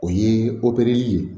O ye opereli ye